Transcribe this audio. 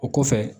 O kɔfɛ